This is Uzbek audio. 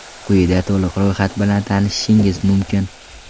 Quyida to‘liq ro‘yxat bilan tanishishingiz mumkin.